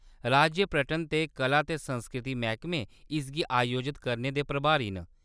राज्य पर्यटन ते कला ते संस्कृति मैह्‌‌‌कमे इसगी आयोजत करने दे प्रभारी न।